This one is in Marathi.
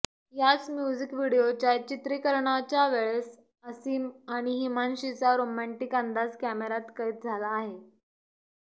याच म्युझिक व्हिडिओच्या चित्रीकरणाच्यावेळेस आसिम आणि हिमांशीचा रोमँटिक अंदाज कॅमेऱ्यात कैद झाला आहे